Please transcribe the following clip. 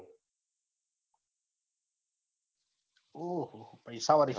ઓહ પૈસા વાળી system છે